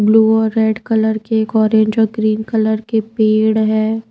Blue और red colour के एक ऑरेंज और ग्रीन कलर के पेड़ है।